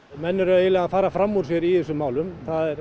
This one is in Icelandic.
menn eru eiginlega að fara fram úr sér í þessum málum